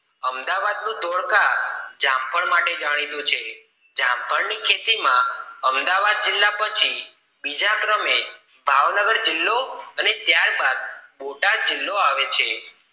અમદાવાદ નું ધોળકા જામફળ માટે જાણીતું છે જામફળ ની ખેતી માં અમદાવાદ જિલ્લા પછી બીજા ક્રમે ભાવનગર જિલ્લા અને ત્યાર બાદ બોટાદ જિલ્લો આવે છે